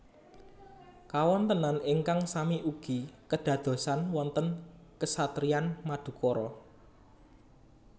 Kawontenan ingkang sami ugi kedadosan wonten Kesatriyan Madukara